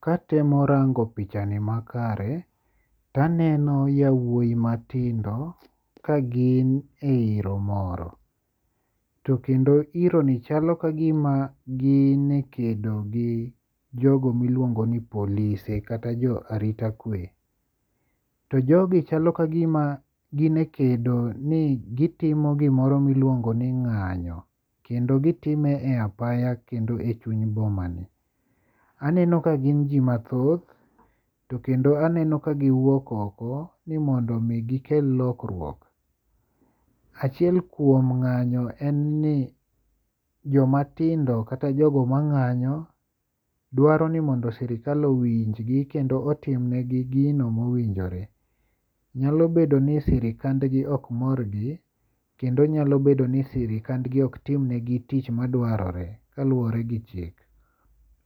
katemo rango pichani makare, to aneno yawuoyi matindo ka gin e iro moro. To kendo iro ni chalo kagima gin e kedo gi jogo miluongo ni polise kata jo arita kwe. To jogi chalo ka gima gin e kedo ni gitimo gimoro miluongo ni ng'anyo. Kendo gitime e apaya kendo e chuny boma ni. Aneno ka gin ji mathoth. To kendo aneno ka giwuok oko ni mondo mi gikel lokruok. Achiel kuom ng'anyo en ni joma tindo kata jogo ma ng'anyo dwaro ni mondo sirkal owinj gi kendo otim ne gi gino mowinjore. Nyalo bedo ni sirikandgin ok mor gi. Kendo nyalo bedo ni sirikandgi ok tim negi tich madwarore kaluwore gi chik.